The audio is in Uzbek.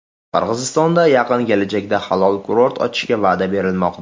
Qirg‘izistonda yaqin kelajakda halol kurort ochishga va’da berilmoqda.